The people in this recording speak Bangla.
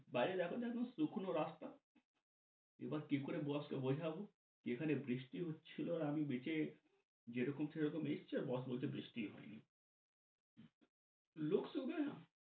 বাইরে দেখো দেখো শুঁকনো রাস্তা, এবার কি করে boss কে বোঝাব, এখানে বৃষ্টি হচ্ছিল আর আমি ভিজে যেরকম সেরকম এসছি আর boss বলছে বৃষ্টিই হয়নি।